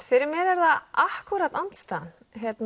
fyrir mér er það andstæðan